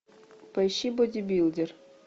поищи бодибилдер